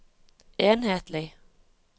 enhetlig